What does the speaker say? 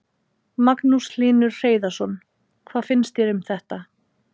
Magnús Hlynur Hreiðarsson: Hvað finnst þér um þetta?